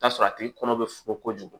T'a tigi kɔnɔ bɛ fo kojugu